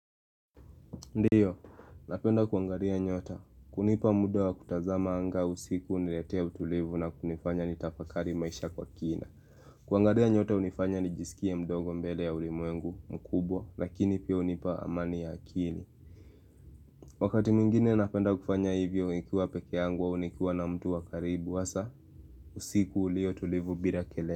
Ndio, napenda kuangalia nyota, kunipa muda wa kutazama anga usiku uniletea utulivu na kunifanya ni tafakali maisha kwa kina kuangalia nyota hunifanya nijisikie mdogo mbele ya ulimwengu mkubwa, lakini pia hunipa amani ya akili Wakati mingine napenda kufanya hivyo ikiwa peke yangu au nikiwa na mtu wa karibu, hasa usiku ulio tulivu bila kele.